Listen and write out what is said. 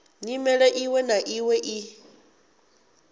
nyimele iṅwe na iṅwe i